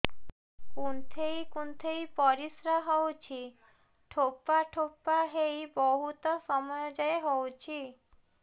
କୁନ୍ଥେଇ କୁନ୍ଥେଇ ପରିଶ୍ରା ହଉଛି ଠୋପା ଠୋପା ହେଇ ବହୁତ ସମୟ ଯାଏ ହଉଛି